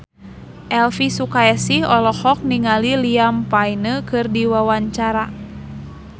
Elvi Sukaesih olohok ningali Liam Payne keur diwawancara